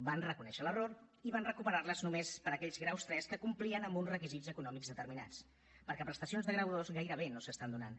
van reconèixer l’error i van recuperar les només per a aquells graus iii que complien amb uns requisits econòmics determinats perquè prestacions de grau ii gairebé no s’estan donant